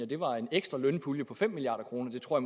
det var en ekstra lønpulje på fem milliard kroner det tror